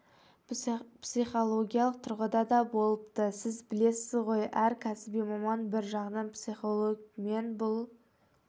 психологиялық тұрғыда да болыпты сіз білесіз ғой әр кәсіби маман бір жағынан психолог мен бұл